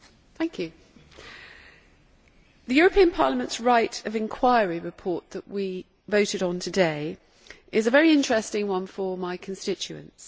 Mr President, the European Parliament's right of inquiry report that we voted on today is a very interesting one for my constituents.